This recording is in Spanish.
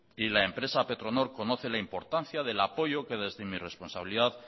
y la empresa petronor conoce la importancia del apoyo que desde mi responsabilidad